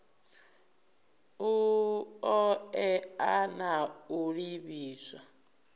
u oea na u livhiswa